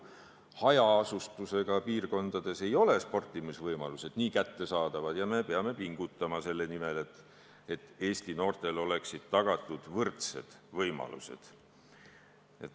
Hajaasustusega piirkondades ei ole sportimisvõimalused kuigi head ja me peame pingutama selle nimel, et Eesti noortele oleksid tagatud võrdsed võimalused.